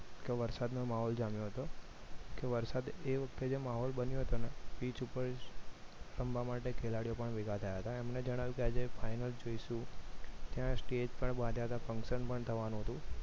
કે વરસાદનો માહોલ જામ્યો હતો વરસાદ એ વખતે જે માહોલ બન્યો હતો ને pitch ઉપર રમવા માટે ખેલાડીઓ પણ ભેગા થયા હતા એમને જણાવ્યું કે આજે final છે શું ત્યાં stage પણ બાંધ્યા હતા function પણ થવાનું હતું